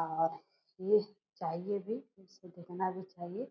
और ये चाहिए भी सुधरना भी चाहिए